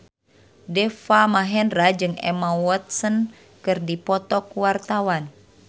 Deva Mahendra jeung Emma Watson keur dipoto ku wartawan